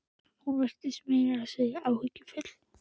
Hún virtist meira að segja áhyggjufull.